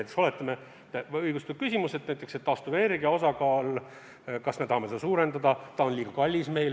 Näiteks oletame, et on õigustatud küsimus taastuvenergia osakaalu kohta: kas me tahame seda suurendada, on see meile liiga kallis?